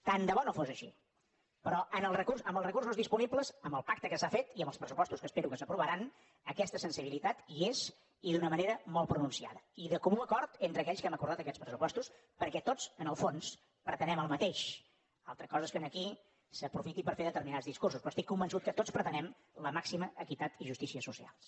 tant de bo no fos així però amb els recursos disponibles amb el pacte que s’ha fet i amb els pressupostos que espero que s’aprovaran aquesta sensibilitat hi és i d’una manera molt pronunciada i de comú acord entre aquells que hem acordat aquests pressupostos perquè tots en el fons pretenem el mateix altra cosa és que aquí s’aprofiti per fer determinats discursos però estic convençut que tots pretenem la màxima equitat i justícia socials